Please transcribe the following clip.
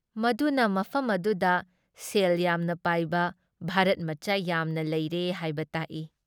ꯃꯗꯨꯅ ꯃꯐꯝ ꯑꯗꯨꯗ ꯁꯦꯜ ꯌꯥꯝꯅ ꯄꯥꯏꯕ ꯚꯥꯔꯠꯃꯆꯥ ꯌꯥꯝꯅ ꯂꯩꯔꯦ ꯍꯥꯏꯕ ꯇꯥꯛꯏ ꯫